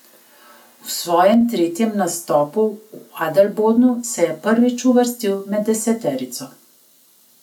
V svojem tretjem nastopu v Adelbodnu se je sicer prvič uvrstil med deseterico.